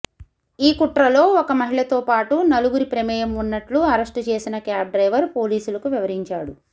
ఈ కుట్రలో ఒక మహిళతోపాటునలుగురి ప్రమేయంఉన్నట్లు అరెస్టుచేసిన క్యాబ్డ్రైవర్ పోలీసులకు వివరించాడు